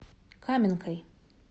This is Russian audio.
каменкой